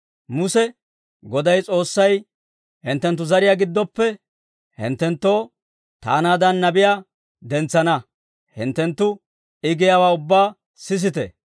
Muse, ‹Goday S'oossay, hinttenttu zariyaa giddoppe hinttenttoo taanaadan nabiyaa dentsana; hinttenttu I giyaawaa ubbaa sisite.